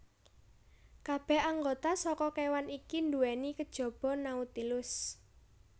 Kabeh anggota saka kewan iki duwéni kejaba Nautilus